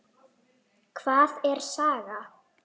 Hvað er saga?